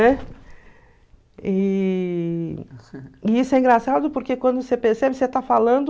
E e isso é engraçado porque quando você percebe, você já está falando...